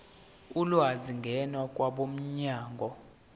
ulwazi ngena kwabomnyango